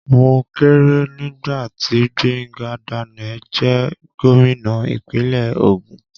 Mo keré nígbàtí Gbenga Daniel jẹ́ gómìnà ìpínlẹ̀ Ògùn.